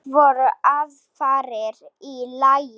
Það voru aðfarir í lagi!